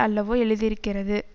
அல்லவோ எழுதியிருக்கிறது